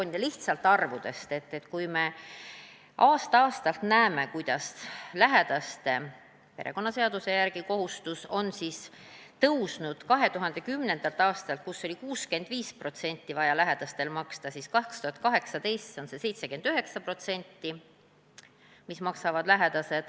Ja nüüd lihtsalt arvudest: aasta-aastalt me näeme, kuidas perekonnaseaduse järgi on lähedaste kohustus suurenenud – 2010. aastal oli lähedastel vaja maksta 65%, seevastu 2018. aastal 79%.